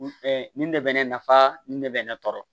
nin de bɛ ne nafa nin de bɛ ne tɔɔrɔ